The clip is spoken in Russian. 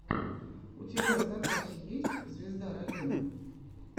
у тебя в запасе есть звезда района